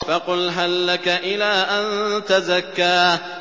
فَقُلْ هَل لَّكَ إِلَىٰ أَن تَزَكَّىٰ